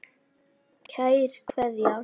Kær Kveðja.